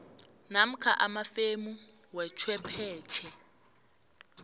namkha amafemu wechwephetjhe